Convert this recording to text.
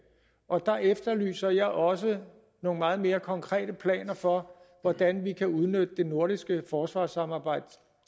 og der efterlyser jeg også nogle meget mere konkrete planer for hvordan vi kan udnytte det nordiske forsvarssamarbejde